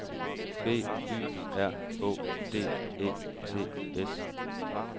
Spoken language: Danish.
B Y R Å D E T S